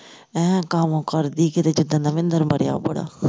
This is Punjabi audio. ਐ ਗਾਮ ਕਰਦੀ ਕੀਤੇ ਜਿਸ ਦਿਨ ਦਾ ਮਹਿੰਦਰ ਮਰਿਆ ਬੜਾ